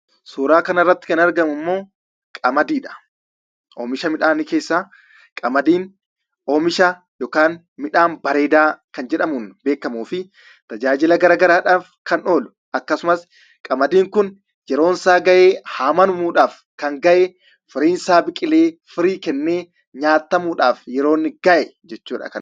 Suuraan kanarratti kan argamu immoo qamadiidha. Qamadiin midhaan bareedaa oomisha jedhamuun beekamuu fi tajaajila garaagaraadhaaf kan oolu akkasumas qamadiin kun yeroonsaa gahee haamamuudhaaf yeroonsaa kan gahe firiinsaa biqilee firii kennee nyaatamuudhaaf kan inni gahe jechuudha.